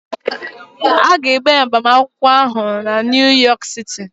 A ga-eme agbamakwụkwọ ahụ na Niu yọk siti